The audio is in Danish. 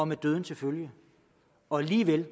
med døden til følge og alligevel